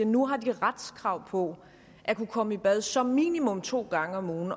nu har de retskrav på at kunne komme i bad som minimum to gange om ugen